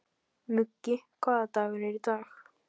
Muggi, hvaða dagur er í dag?